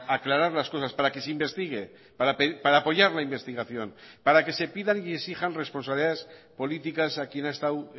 aclarar las cosas para que se investigue para apoyar la investigación para que se pidan y exijan responsabilidades políticas a quien ha estado